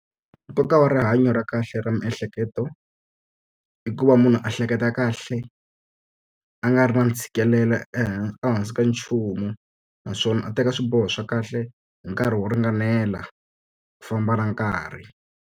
Nkoka wa rihanyo ra kahle ra miehleketo, i ku va munhu a hleketa kahle, a nga ri na ntshikelelo ehansi ka nchumu. Naswona a teka swiboho swa kahle hi nkarhi wo ringanela, ku famba na nkarhi.